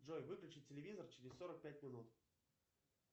джой выключить телевизор через сорок пять минут